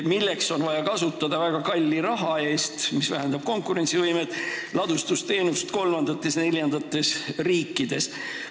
Selleks on vaja väga kalli raha eest kasutada ladustusteenust kolmandates-neljandates riikides, mis vähendab konkurentsivõimet.